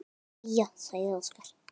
Jæja, sagði Óskar.